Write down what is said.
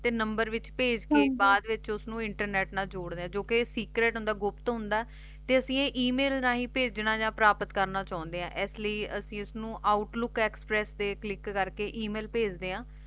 ਤੇ ਨੰਬਰ ਵਿਚ ਭੇਜ ਕੇ ਬਾਅਦ ਵਿਚ ਓਸ ਨੂ ਇੰਟਰਨੇਟ ਨਾਲ ਜੋਰ੍ਡੇ ਆਂ ਜੋ ਕੇ secret ਹੁੰਦਾ ਗੁਪਤ ਹੁੰਦਾ ਤੇ ਅਸੀਂ ਆਯ ਏਮਿਲ ਰਹੀ ਪਰਾਪਤ ਕਰਨਾ ਯਾ ਭੇਜਾ ਚੌੰਡੀ ਆਂ ਏਸ ਲੈ ਅਸੀਂ ਓਸਨੂ outlook express ਤੇ ਕਲਿਕ ਕਰ ਕੇ ਏਮਿਲ ਬ੍ਝ੍ਡੇ ਆਂ